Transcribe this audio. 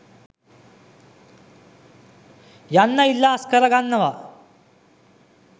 යන්න ඉල්ලා අස්කර ගන්නවා.